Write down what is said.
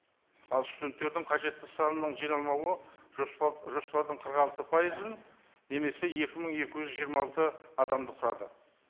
ал студенттердің қажетті санының жиналмауы жоспар жоспардың қырық алты пайызын немесе екі мың екі жүз жиырма алты адамды құрады